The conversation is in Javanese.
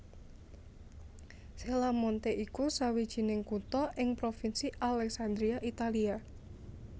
Cella Monte iku sawijining kutha ing Provinsi Alessandria Italia